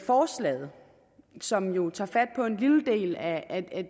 forslaget som jo tager fat på en lille del af